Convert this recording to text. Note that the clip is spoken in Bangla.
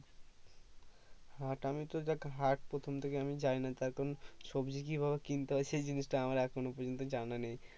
হাট আমি তো দেখ হাট প্রথম থেকে আমি যাই না তার কারণ সবজি কি ভাবে কিনতে হয় সেই জিনিস তা আমার এখনো পর্যন্ত জানা নেই